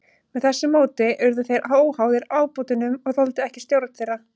Með þessu móti urðu þeir óháðir ábótunum og þoldu ekki stjórn þeirra.